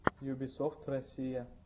юбисофт россия